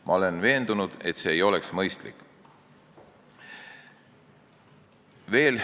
Ma olen veendunud, et see ei oleks mõistlik.